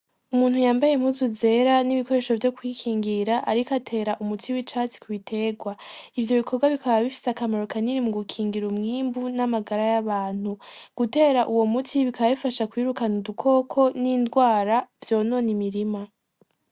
Umuntu yambaye impuzu zera n'ibikoresho vyo kw'ikingira ariko atera umuti w'icatsi kubitegwa, ivyo bikorwa bikaba bifise akamaro kanini mugukingira umwimbu n'amagara y'abantu, gutera uwo muti bikaba bifasha mu kwirukana udukoko n'indwara vyonona imirima.